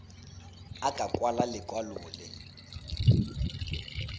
a ka kwala lekwalo le